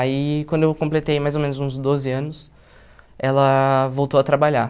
Aí, quando eu completei mais ou menos uns doze anos, ela voltou a trabalhar.